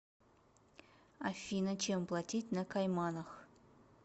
афина чем платить на кайманах